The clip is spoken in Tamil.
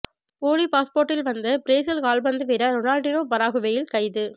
போலி பாஸ்போர்ட்டில் வந்த பிரேசில் கால்பந்து வீரர் ரொனால்டினோ பராகுவேயில் கைது